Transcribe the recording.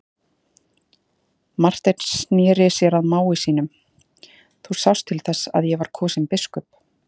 Marteinn sneri sér að mági sínum:-Þú sást til þess að ég var kosinn biskup.